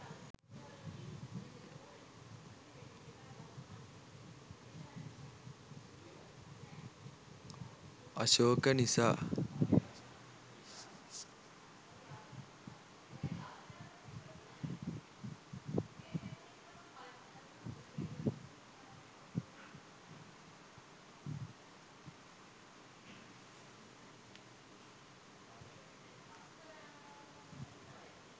අශෝක නිසා